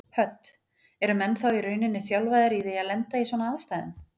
Hödd: Eru menn þá í rauninni þjálfaðir í því að lenda í svona aðstæðum?